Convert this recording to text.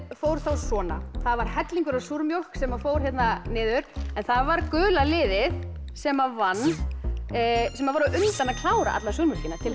fór þá svona það var hellingur af súrmjólk sem fór hérna niður það var gula liðið sem vann sem var undan að klára alla súrmjólkina til